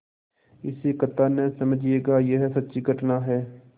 इसे कथा न समझिएगा यह सच्ची घटना है